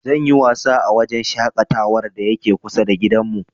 Zan yi wasa a wajen shaƙatawar da yake kusa da gidanmu.